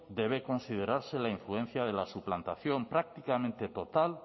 debe considerarse la influencia de la suplantación prácticamente tota